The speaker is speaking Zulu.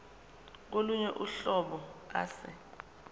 kolunye uhlobo ase